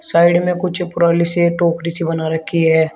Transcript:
Side में कुछ पुरानी सी टोकरी सी बना रखी है।